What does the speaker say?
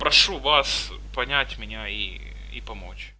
прошу вас понять мне и и помочь